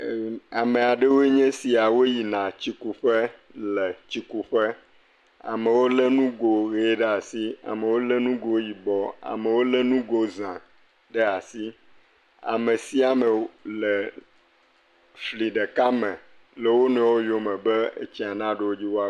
Ame aɖewo nye sia woyina tsi kuƒe le tsikuƒe. Amewo lé nugo ʋie ɖe asi amewo lé nugo zã ɖe asi. Ame sia ame le fli ɖeka me le wonuiwo yome be tsia naɖo wo dzi wo…